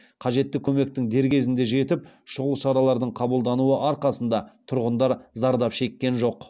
қажетті көмектің дер кезінде жетіп шұғыл шаралардың қабылдануы арқасында тұрғындар зардап шеккен жоқ